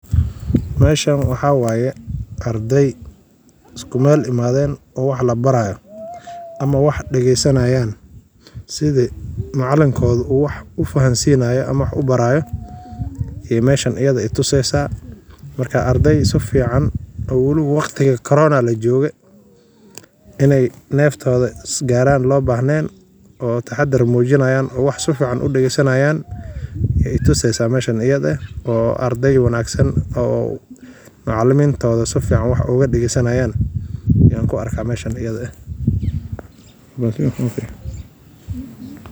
Meesha waxaawaye ardey iskumeel imadheen oo wax labaraayo ama wax dageesanayaan sidhii macalinkoodha uu wax ufahasiinaya ama wax ubaraaya ey meshan iyadha tuseeysa. Marka ardey sifican oo waliba waqtiga corona lajooge, iney neftoodha isgaaran loobahneen oo taxadar muujinayan oo wax sifican udagesanayaan aye tuseysa meshani oo ardey wanaagsan oo macalimintodha sifican wax ugadageysanayaan ayaan kuarkaa meshan.